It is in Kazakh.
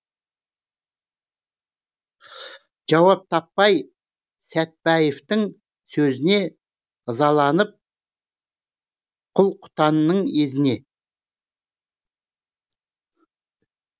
жауап таппай сәтбаевтың сөзіне ызаланып құл құтанның езіне